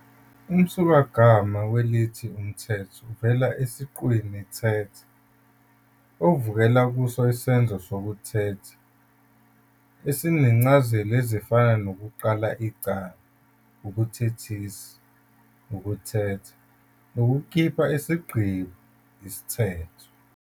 Umsukagama welithi umthetho uvela esiqwini "thetha", okuvela kuso isenzo sokuthetha esinezincazelo ezifana nokuqala icala, ukuthethisa, ukuthetha, nokukhipha isigqibo, isithetho.